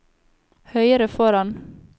høyre foran